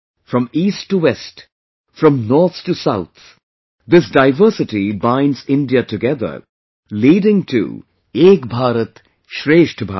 From east to west, from north to south, this diversity binds India together, leading to Ek Bharat Shreshtha Bharat